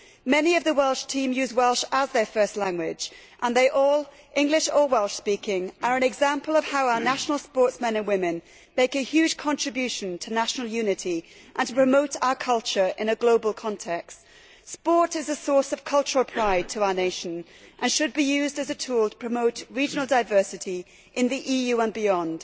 Many of the Welsh team use Welsh as their first language and they all English or Welsh speaking are an example of how our national sportsmen and women make a huge contribution to national unity and to promoting our culture in a global context. Sport is a source of cultural pride to our nation and should be used as a tool to promote regional diversity in the EU and beyond.